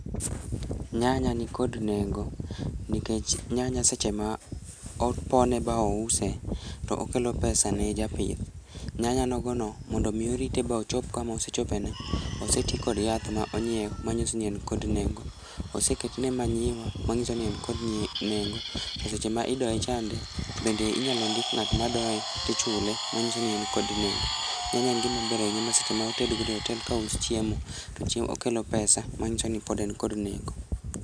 Nyanya nikod nengo nikech nyanya seche ma opone ba ouse to okelo pesa ne japith. Nyanya nogono mondo omi orite ba ochop kama osechopeni oseti kod yath ma onyiew ma nyiso ni en kod nengo. Oseketne manyiwa mang'iso ni en kod nengo to seche ma idoye chande bende inyalo ndik ng'at madoye tichule manyiso ni en kod nengo. Nyanya en gimaber ahinya ma seche motedgodo e otel ka uchiemo to okelo pesa mang'iso ni pod en kod nengo.